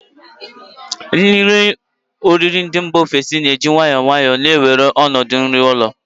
Ihe oriri ndị mba ofesi na-eji nwayọọ nwayọọ na-ewere ọnọdụ nri ụlọ